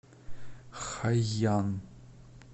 хайян